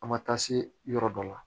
An ma taa se yɔrɔ dɔ la